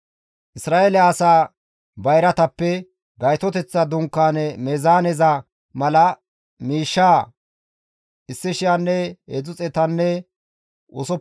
Isra7eele asaa bayratappe Gaytoteththa Dunkaane meezaaneza mala miishshaa 1,365 saqile bira ekkides.